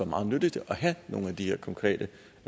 meget nyttigt at have nogle af de her konkrete